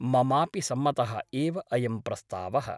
ममापि सम्मतः एव अयं प्रस्तावः ।